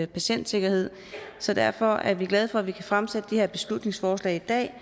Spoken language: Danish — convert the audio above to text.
patientsikkerhed så derfor er vi glade for at vi kan fremsætte det her beslutningsforslag i dag